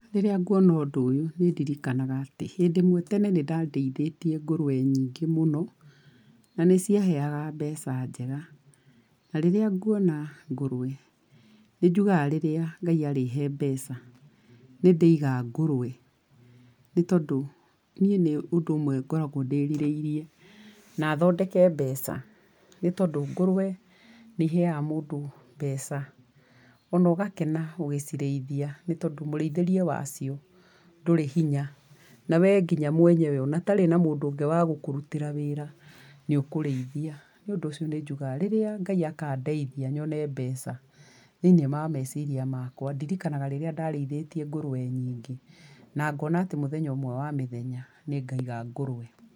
Rĩrĩa nguona ũndũ ũyũ, nĩ ndiririkanaga atĩ, hĩndũ ĩmwe tene nĩ ndarĩithĩtie ngũrũwe nyingĩ mũno, na nĩ ciaheaga mbeca njega, na rĩrĩa nguona ngũrũwe, nĩ njugaga rĩrĩa Ngai arĩhe mbeca, nĩndĩiga ngũrũwe, nĩ tondũ niĩ nĩ ũndũ ũmwe ngoragwo ndĩrirĩirie na thondeke mbeca, nĩtondũ ngũrũwe nĩ ihega mũndũ mbeca, ona ũgakena ũgĩcirĩithia, nĩ tondũ mũrĩithĩrie wacio ndũri hinya. Na we nginya mwenyewe ona ũtarĩ na mũndũ ũngĩ wa gũkũrutĩra wĩra nĩ ũkũrĩithia. Nĩ ũdũ ũcio nĩ njugaga rĩrĩa Ngai akandeithia nyone mbeca, thĩinĩ wa mweciria makwa, ndirikanaga rĩrĩa ndarĩithĩtie ngũrũwe nyingĩ, na ngona atĩ mũthenya ũmwe wa mĩthenya nĩ ngaiga ngũrũwe.